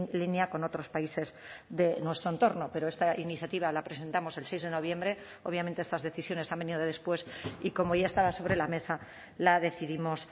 línea con otros países de nuestro entorno pero esta iniciativa la presentamos el seis de noviembre obviamente estas decisiones han venido después y como ya estaba sobre la mesa la decidimos